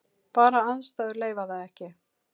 Bara aðstæður leyfa það ekki.